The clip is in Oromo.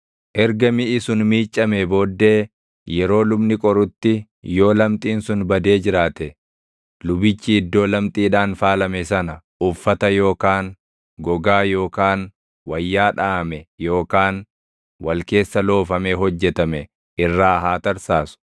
Erga miʼi sun miiccamee booddee yeroo lubni qorutti yoo lamxiin sun badee jiraate lubichi iddoo lamxiidhaan faalame sana uffata yookaan gogaa yookaan wayyaa dhaʼame yookaan wal keessa loofamee hojjetame irraa haa tarsaasu.